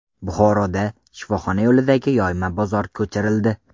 Buxoroda shifoxona yo‘lidagi yoyma bozor ko‘chirildi.